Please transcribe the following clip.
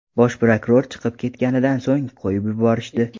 Bosh prokuror chiqib ketganidan so‘ng qo‘yib yuborishdi.